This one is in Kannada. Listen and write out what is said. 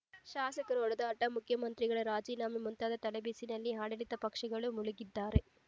ಶಾಸಕರ ಹೊಡೆದಾಟ ಮುಖ್ಯ ಮಂತ್ರಿಗಳ ರಾಜೀನಾಮೆ ಮುಂತಾದ ತಲೆಬಿಸಿನಲ್ಲಿ ಆಡಳಿತ ಪಕ್ಷಗಳು ಮುಳುಗಿದ್ದರೆ